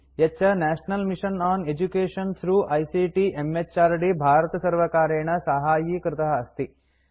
यच्च national mission on education through ICT म्हृद् भारतसर्वकारेण साहाय्यीकृत अस्ति